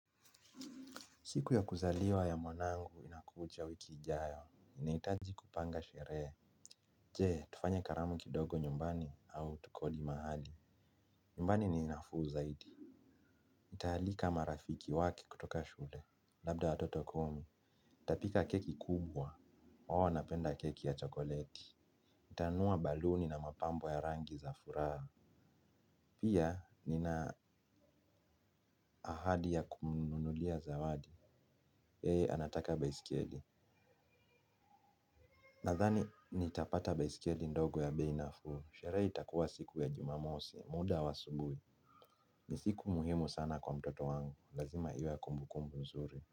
Siku ya kuzaliwa ya mwanangu inakuja wiki ijayo. Ninahitaji kupanga sherehe. Je, tufanye karamu kidogo nyumbani au tukodi mahali? Nyumbani ni nafuu zaidi. Nitaalika marafiki wake kutoka shule. Labda watoto kumi. Nitapika keki kubwa. Hawa wanapenda keki ya chokoleti. Nitanunua baluni na mapambo ya rangi za furaha. Pia, nina ahadi ya kumunulia zawadi. Yeye anataka baisikeli. Nadhani nitapata baiskeli ndogo ya bei nafuu. Sherehe itakuwa siku ya Jumamosi, muda wa saa nane. Ni siku muhimu sana kwa mtoto wangu. Lazima iwe ya kumbukumbu nzuri.